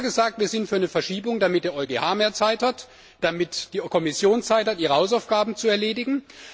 Wir haben immer gesagt, wir sind für eine Verschiebung, damit der EuGH mehr Zeit hat, damit die Kommission Zeit hat, ihre Hausaufgaben zu erledigen.